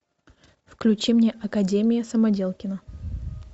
включи мне академия самоделкина